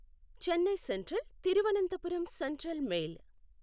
Chennai Central Thiruvananthapuram Central mail